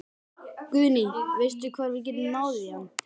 Guðný: Veistu hvar við getum náð í hann?